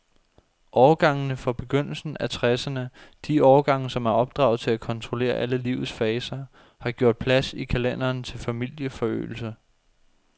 Årgangene fra begyndelsen af tresserne, de årgange, som er opdraget til at kontrollere alle livets faser, har gjort plads i kalenderen til familieforøgelse.